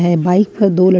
ये बाइक पर दो लड़--